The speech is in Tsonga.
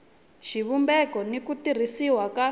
xivumbeko n ku tirhisiwa ka